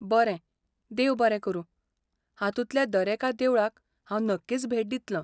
बरें, देव बरें करूं, हातूंतल्या दरेका देवळाक हांव नक्कीच भेट दितलों!